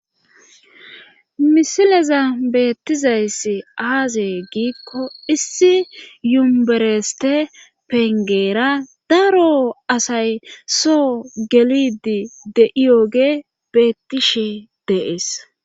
Misileza beettizayss aazee giikko issi yumbereste pengeera daro asay soo gelidi de'iyoge beettishe dees.